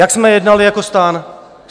Jak jsme jednali jako STAN?